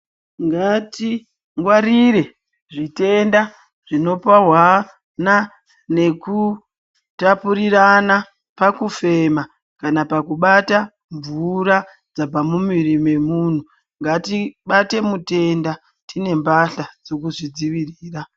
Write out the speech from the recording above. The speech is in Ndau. Ngatingwarire zvitenda zvinopuhwana nekutapurirana pakufema kana pakubata mvura dzabva mumuviri mwemunhu. Ngatibate mutenda tine mbahla dzekuzvidzivirira.